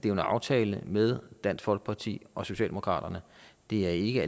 er en aftale med dansk folkeparti og socialdemokratiet det er ikke